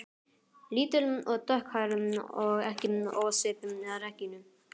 Lítil og dökkhærð og ekki ósvipuð Regínu